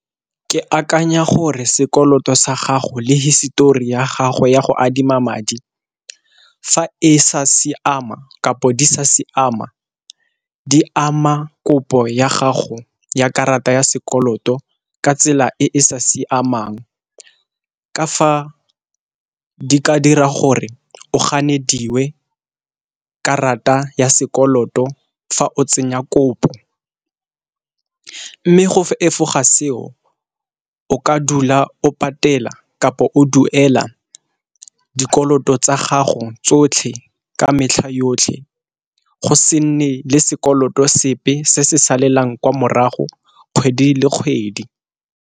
Ke akanya gore sekoloto sa gago le hisetori ya gago ya go adima madi, fa e sa siama kapo di sa siama di ama kopo ya gago ya karata ya sekoloto ka tsela e e sa siamang. Ka fa di ka dira gore o ganedingwe karata ya sekoloto fa o tsenya kopo mme go fa efoga seo o ka dula o patela kapo o duela dikoloto tsa gago tsotlhe ka metlha yotlhe, go se nne le sekoloto sepe se se salang kwa morago kgwedi le kgwedi.